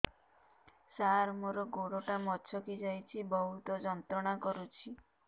ସାର ମୋର ଗୋଡ ଟା ମଛକି ଯାଇଛି ବହୁତ ଯନ୍ତ୍ରଣା କରୁଛି